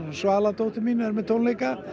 Svala dóttir mín með tónleika